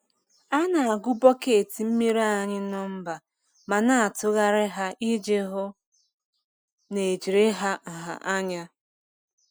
A na-agụ bọket mmiri ara anyị nọmba ma na-atụgharị ha iji hụ na ejiri ha nha anya.